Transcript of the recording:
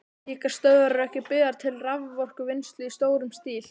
Slíkar stöðvar eru ekki byggðar til raforkuvinnslu í stórum stíl.